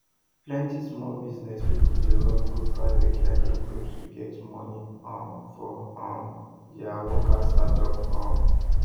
plenty small business people dey run go private lending groups to get money um for um their worker startup um